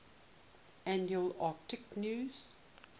annual akitu new